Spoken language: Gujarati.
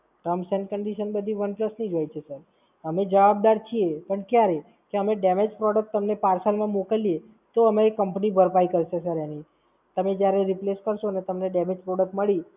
Terms and Conditions બધી OnePlus જ હોય છે Sir અમે જવાબદાર છીએ પણ ક્યારે? કે અમે Damage product તમને Parcel માં મોકલીએ, તો અમે એ Company ભરપાઈ કરશે sir એની. તમે જ્યારે Replace કરશો ને તમને Damage product મળી